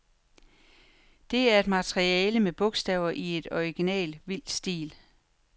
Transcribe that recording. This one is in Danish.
Det er et maleri med bogstaver i en original, vild stil.